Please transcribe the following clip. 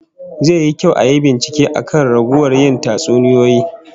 Zai yi kyau ayi bincike akan raguwar yin tatsuniyoyi